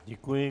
Děkuji.